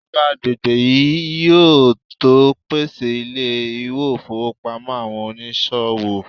ijoba agbegbe yíò to pèsè ilé ifowópamọ́ àwọn onísòwò